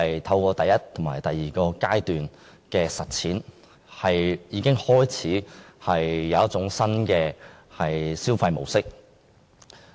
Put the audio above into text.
透過第一及第二階段的實踐，市民已建立新的消費模式。